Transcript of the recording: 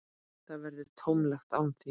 Það verður tómlegt án þín.